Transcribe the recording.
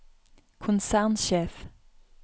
konsernsjef